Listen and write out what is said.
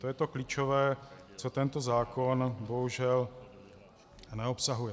To je to klíčové, co tento zákon bohužel neobsahuje.